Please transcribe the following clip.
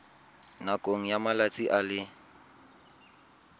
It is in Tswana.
nakong ya malatsi a le